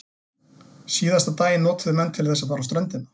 Síðasta daginn notuðu menn til þess að fara á ströndina.